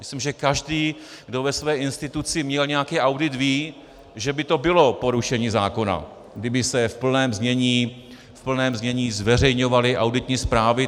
Myslím, že každý, kdo ve své instituci měl nějaký audit, ví, že by to bylo porušení zákona, kdyby se v plném znění zveřejňovaly auditní zprávy.